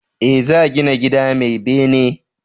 E, za gina gida mai bene.